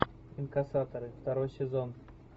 инкассаторы второй сезон